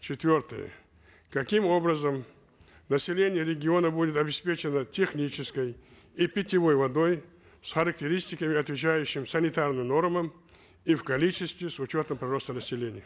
четвертое каким образом население региона будет обеспечено технической и питьевой водой с характеристиками отвечающими санитарным нормам и в количестве с учетом прироста населения